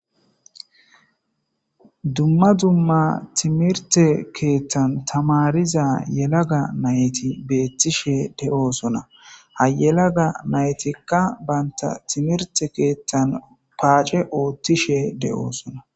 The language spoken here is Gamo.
Dumma dumma timrte kethan tamirishe diza nayt betosona, ha yelaga naytikka banta timrte kethan pace othishe Des'sona.